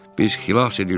Biz xilas edildik!